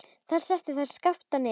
Þar settu þeir Skapta niður.